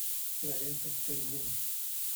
кинолента полигон